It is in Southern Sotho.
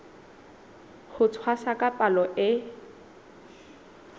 ho tshwasa ka palo e